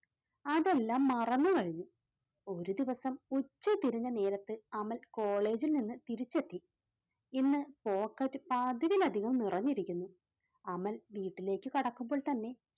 അതെല്ലാം മറന്നു കഴിഞ്ഞു. ഒരു ദിവസം ഉച്ചതിരിഞ്ഞ നേരത്ത് അമൽ കോളേജിൽ നിന്ന് തിരിച്ചെത്തി. ഇന്ന് pocket പതിവിലധികം നിറഞ്ഞിരിക്കുന്നു അമൽ വീട്ടിലേക്ക് കടക്കുമ്പോൾ തന്നെ